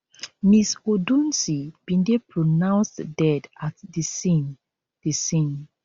ms odunsi bin dey pronounced dead at di scene di scene